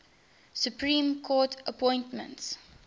supreme court appointments